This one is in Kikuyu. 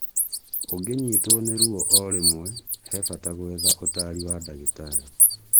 ũgĩnyitwo nĩ ruo ũrĩmwe, he mbata gwetha ũtari wa dagĩtarĩ